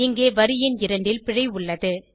இங்கே வரி எண் 2 ல் பிழை உள்ளது